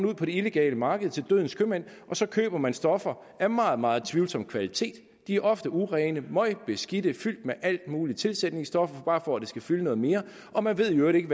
ud på det illegale marked til dødens købmænd og så køber man stoffer af meget meget tvivlsom kvalitet de er ofte urene møgbeskidte og fyldt med alle mulige tilsætningsstoffer bare for at det skal fylde noget mere og man ved i øvrigt ikke